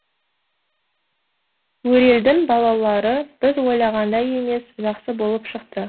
өрелдің балалары біз ойлағандай емес жақсы болып шықты